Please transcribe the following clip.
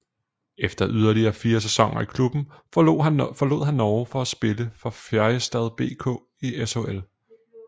Efter yderligere fire sæsoner i klubben forlod han Norge for at spille for Färjestad BK i SHL